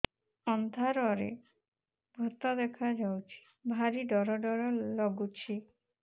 ଅନ୍ଧାରରେ ଭୂତ ଦେଖା ଯାଉଛି ଭାରି ଡର ଡର ଲଗୁଛି